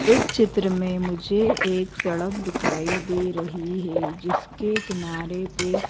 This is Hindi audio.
इस चित्र में मुझे एक सड़क दिखाई दे रही है जिसके किनारे पे--